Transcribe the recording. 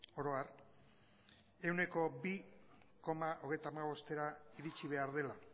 oro har ehuneko bi koma hogeita hamabostera iritsi behar dela